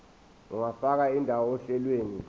ungafaka indawo ohlelweni